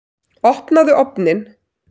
Opnaðu ofninn!